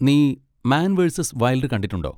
നീ man versus wild കണ്ടിട്ടുണ്ടോ?